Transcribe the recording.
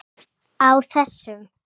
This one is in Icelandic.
Á þessum